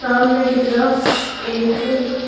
सामने की तरफ एक --